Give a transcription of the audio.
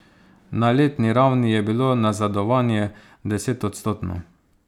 Na letni ravni je bilo nazadovanje desetodstotno.